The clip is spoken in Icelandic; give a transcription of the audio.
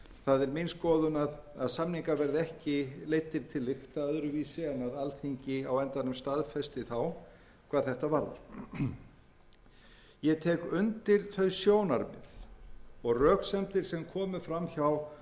að það mundi gerast það er mín skoðun að samningar verði ekki leiddir til lykta öðruvísi en að alþingi á endanum staðfesti þá hvað þetta varðar ég tek undir þau sjónarmið og röksemdir sem komu fram hjá